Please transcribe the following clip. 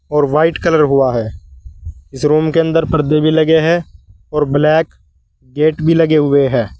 और white colour हुआ है। इस रूम के अंदर पर्दे भी लगे हैं और ब्लैक गेट भी लगे हुए हैं।